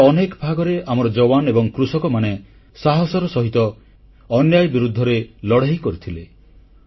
ଦେଶର ଅନେକ ଭାଗରେ ଆମର ଯୱାନ ଏବଂ କୃଷକମାନେ ସାହସର ସହିତ ଅନ୍ୟାୟ ବିରୁଦ୍ଧରେ ଲଢ଼େଇ କରିଥିଲେ